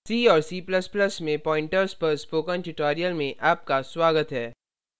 c और c ++ में pointers pointers पर spoken tutorial में आपका स्वागत है